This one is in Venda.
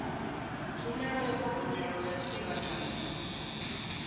tshumelo ya thogomelo ya tshifhinganyana